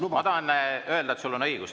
Ma tahan öelda, et sul on õigus.